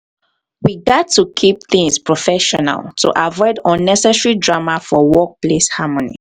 we gats to keep things professional to avoid unnecessary drama for workplace harmony.